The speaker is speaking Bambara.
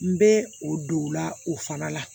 N bɛ o don la o fana la